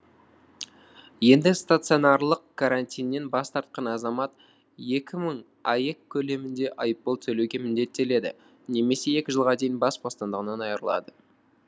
енді стационарлық карантиннен бас тартқан азамат екі мың аек көлемінде айыппұл төлеуге міндеттеледі немесе екі жылға дейін бас бостандығынан айырылады